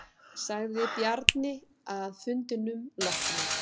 Sagði Bjarni að fundinum loknum.